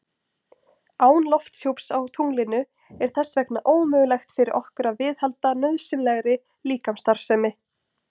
Án lofthjúps á tunglinu er þess vegna ómögulegt fyrir okkur að viðhalda nauðsynlegri líkamsstarfsemi.